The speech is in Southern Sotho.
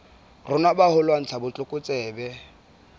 rona ba ho lwantsha botlokotsebe